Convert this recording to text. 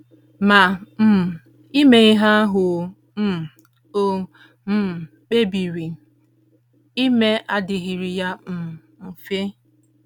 Ma, um ime ihe ahụ o um o um kpebiri ime adịghịrị ya um mfe.